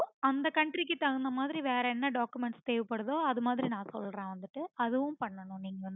அந்த country க்கு தகுந்த மாதிரி வேற என்ன documents தேவபடுதோ அது மாதிரி நான் சொல்றேன் நான் வந்துட்டு அதுவும் பண்ணனும் நீங்க